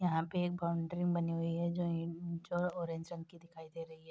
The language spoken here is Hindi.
यहाँ पे एक बाउंड्री बनी हुई है जो इंचो ऑरेंज रंग की दिखाई दे रही है।